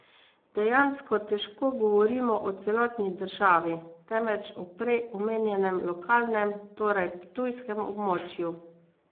Dejansko težko govorimo o celotni državi, temveč o prej omenjenem lokalnem, torej ptujskem območju.